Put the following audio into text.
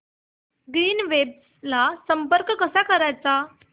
Greenwaves ला संपर्क कसा करायचा